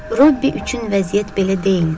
Robbi üçün vəziyyət belə deyildi.